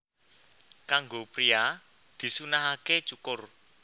Kanggo priya disunnahaké cukur